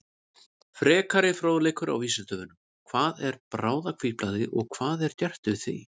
Frekari fróðleikur á Vísindavefnum: Hvað er bráðahvítblæði og hvað er gert við því?